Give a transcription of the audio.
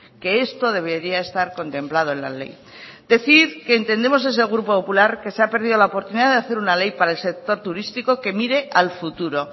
que esto debería estar contemplado en la ley decir que entendemos desde el grupo popular que se ha perdido la oportunidad de hacer una ley para el sector turístico que mire al futuro